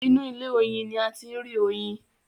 Inú ilé- oyin ní a ti ń rí oyin.